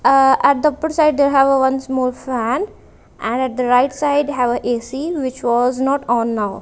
aah at the upper side they have a one small fan and at the right side have a ac which was not on now.